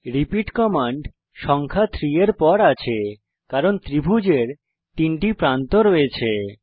repeat command সংখ্যা 3 এর পর আছে কারণ ত্রিভুজের তিনটি প্রান্ত আছে